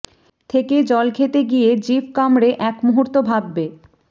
থেকে জল খেতে গিয়ে জিভ কামড়ে এক মুহুর্ত ভাববে